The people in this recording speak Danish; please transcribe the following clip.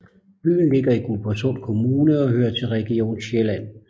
Byen ligger i Guldborgsund Kommune og hører til Region Sjælland